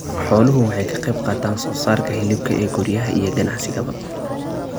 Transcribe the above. Xooluhu waxay ka qaybqaataan soosaarka hilibka ee guryaha iyo ganacsigaba.